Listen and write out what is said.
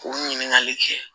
K'u ɲininkali kɛ